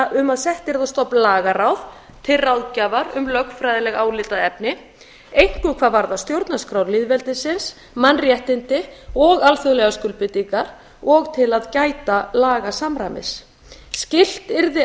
um að sett yrði á stofn lagaráð til ráðgjafar um lögfræðileg álitaefni einkum hvað varðar stjórnarskrá lýðveldisins mannréttindi og alþjóðlegar skuldbindingar og til að gæta lagasamræmis skylt yrði